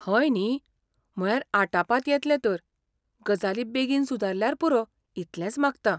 हय न्ही, म्हळ्यार आटापांत येतलें तर, गजाली बेगीन सुदारल्यार पुरो इतलेंच मागतां.